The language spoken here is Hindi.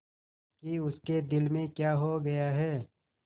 कि उसके दिल में क्या हो गया है